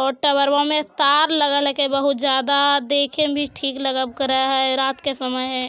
और टावरवा में तार लगल हके बहुत ज्यादा देखेमें ठीक लगप करे है रात के समय है।